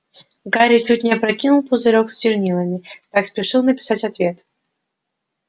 гарри чуть не опрокинул пузырёк с чернилами так спешил написать ответ